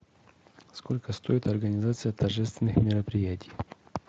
сколько стоит организация торжественных мероприятий